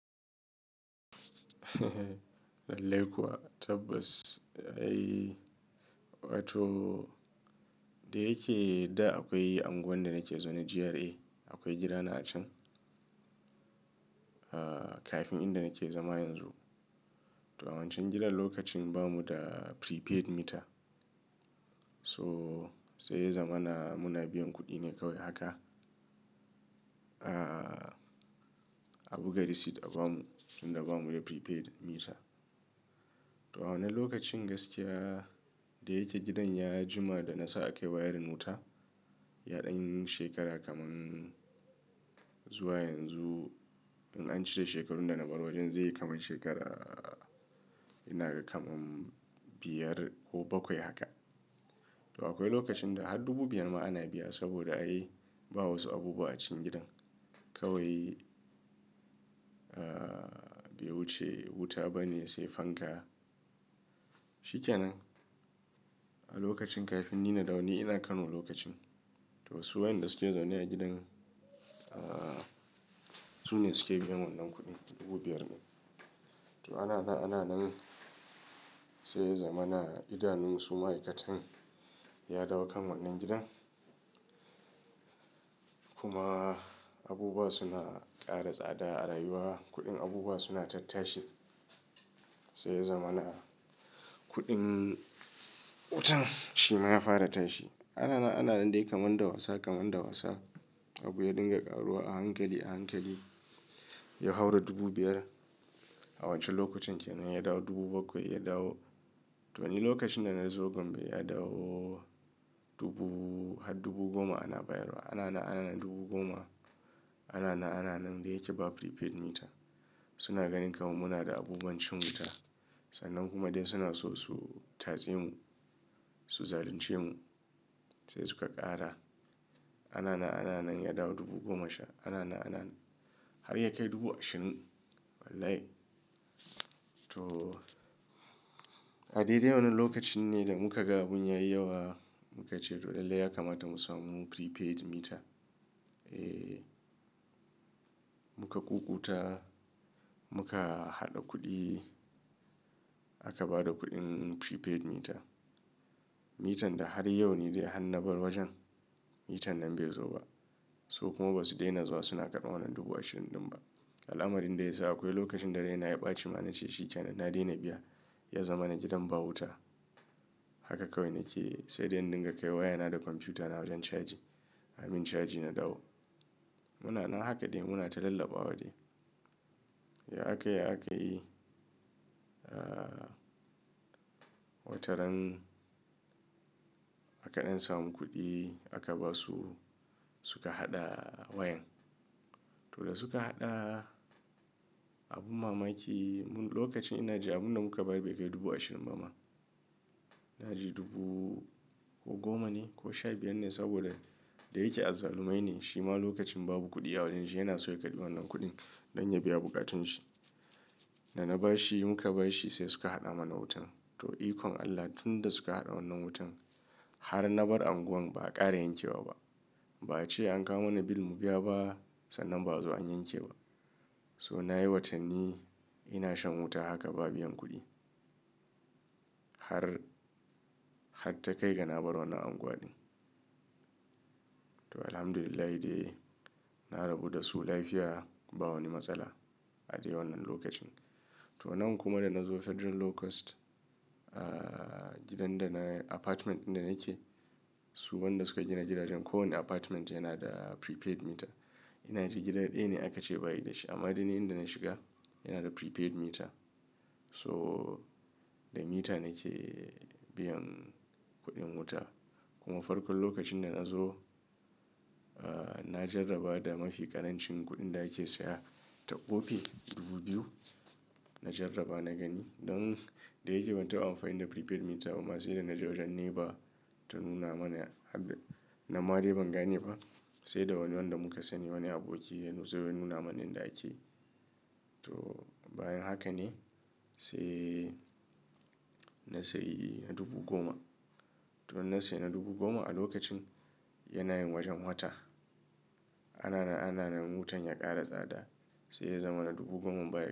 Lallai kuwa tabbas. Ai wato da yake da akwai unguwan da nake zaune GRA. Akwai gidana a can, ah kafin inda nake zama yanzu. To a wancan gidan lokacin bamu da prepaid meter. So sai zamana muna biyan kuɗi ne kawai haka. Ah a buga receipt a bamu, idan ba mu da prepaid meter. To a wannan lokacin gaskiya da yake gidan ya jima da nasa a kai wayarin wuta, yaɗin shekara kaman zuwa yanzu. In an cire shekarun da na bar wajen zai yi kamar shekara, ina ga kamar biyar ko bakwai haka. To akwai lokacin da har dubu biyar ma ana biya saboda ai ba wasu abubuwa a cikin gidan. Kawai, ah bai wuce wuta ba ne sai fanka. Shi kenan a lokacin kafin ni na da wani ina Kano lokacin. To su wayanda suke zaune a gidan, ah su ne suke biyan wannan kuɗin dubu biyar. To ana na ana nan sai zamana idanunsu ma'aikatan ya dawo kan wannan gidan. Kuma abubuwa suna ƙara tsada a rayuwa. Kuɗin abubuwa suna tattashi. Sai zamana kuɗin wutan shi ma ya fara tashi. Ana na ana nan dai kamar da wasa kamar da wasa. Abu ya dinga ƙaruwa a hankali a hankali. Ya haura dubu biyar a wance lokacin kenan ya dawo dubu bakwai ya dawo. To ni lokacin da na zo Gombe ya dawo dubu har dubu goma ana bayarwa. Ana na ana nan dubu goma. Ana na ana nan dai yake ba prepaid meter. Suna ganin kamar muna da abubuwan cin wuta. Sannan kuma dai suna so su tatse mu, su zalunce mu. Sai suka ƙara. Ana na ana nan ya dawo dubu goma sha. Ana na ana har ya kai dubu ashirin. Wallahi. To a dai dai wannan lokacin ne da muka ga abin ya yi yawa muka ce to lallai ya kamata mu samu prepaid meter. Eh muka ƙuƙuta muka haɗa kuɗi aka ba da kuɗin prepaid meter. Meter da har yau ne dai a hannu bar wajen. Meter nan bai zo ba. Su kuma ba su daina zuwa suna karɓa wannan dubu ashirin ɗin ba. Ala, amarin da ya sa akwai lokacin da raina ya ɓaci ma na ce shi kenan na daina biya. Ya zama na gidan ba wuta. Haka kawai nake sai dai in dinga kai wayana da kwamfuta na wajen caji. Amin caji na dawo. Muna na haka dai muna ta lallaba wa dai. Ya akai ya aka yi, ah wataran akaɗan samu kuɗi aka ba su suka haɗa wayan. To da suka haɗa abun mamaki lokacin ina ji abun da muka bayar bai kai dubu ashirin ba ma. Ina ji dubu ko goma ne ko sha biyar ne saboda da yake azzalumai ne. Shi ma lokacin babu kuɗi a wajen shi yana so ya karɓi wannan kuɗin don ya biya bukatun shi. Da na ba shi mu ka ba shi sai suka haɗa mana wutan. To ikon Allah tun da suka haɗa wannan wutan har na bar unguwan ba a ƙara yanke wa ba. Ba a ce an kawo mana bill mu biya ba sannan ba, azo an yanke ba. So na yi watanni ina shan wuta haka ba biyan kuɗi. Har har takai da na bar wannan unguwa dai. To Alhamdulillah dai na rabu da su lafiya ba wani matsala a dai wannan lokacin. To nan kuma da na zo Federal Lowcost, ah gidan da na apartment ɗin da nake, su wanda suka gina gidajen kowane apartment yana da prepaid meter. Ina ji gidan ɗaya ne aka ce bayi da shi amma dai ni inda na shiga yana da prepaid meter. So da mita nake biyan kuɗin wuta. Kuma farkon lokacin da na zo, ah na jarraba da mafi ƙarancin kuɗin da ake saya ta ƙofi dubu biyu. Na jarraba na gani don da yake ban taɓa amfani da prepaid meter ba ma sai da na je wajen nepa ta nuna mana har na nan ma dai ban gane ba. Sai da wani wanda muka sani wani aboki ya zo ya nuna mana inda ake. To bayan haka ne sai na sayi na dubu goma. To na sayi na dubu goma a lokacin yana yin wajen wata. Ana na ana nan wutan ya ƙara tsada sai ya zama na dubu goma baya.